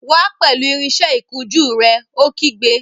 Wá pẹ̀lú irinsẹ́ ìkunjú rẹ̀! Ó kígbe